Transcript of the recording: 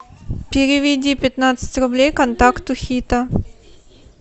переведи пятнадцать рублей контакту хита